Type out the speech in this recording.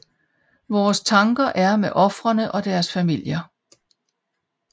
Vores tanker er med ofrene og deres familier